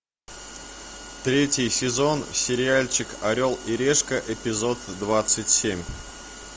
третий сезон сериальчик орел и решка эпизод двадцать семь